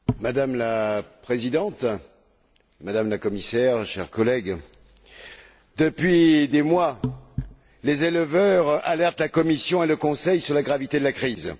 Madame la Présidente, Madame la Commissaire, chers collègues, depuis des mois, les éleveurs alertent la Commission et le Conseil sur la gravité de la crise.